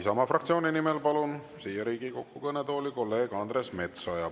Isamaa fraktsiooni nimel palun siia Riigikogu kõnetooli kolleeg Andres Metsoja.